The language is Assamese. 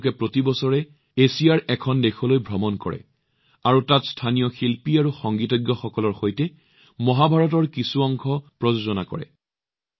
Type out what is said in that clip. তেওঁ প্ৰতি বছৰে এছিয়াৰ এখন দেশলৈ ভ্ৰমণ কৰে আৰু তাত স্থানীয় শিল্পী আৰু সংগীতজ্ঞসকলৰ সৈতে মহাভাৰতৰ কিছু অংশ প্ৰস্তুত কৰে